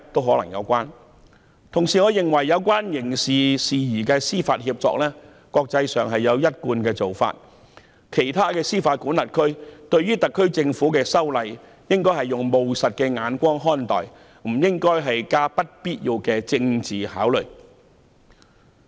我亦認為，國際間就有關刑事事宜司法協定有一貫做法，其他司法管轄區應以務實的眼光看待特區政府修例，不應加上不必要的政治考慮。